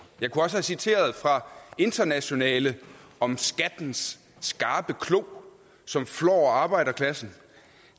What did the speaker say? jeg kunne også have citeret fra internationale om skattens skarpe klo som flår arbejderklassen